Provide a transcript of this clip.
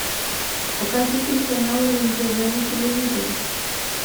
покажи телеканал рен тв на телевизоре